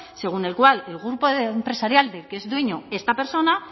según el cual el grupo empresarial del que es dueño esta persona